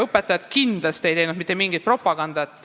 Õpetajad kindlasti ei teinud mitte mingit propagandat.